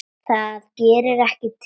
Það gerði ekki til.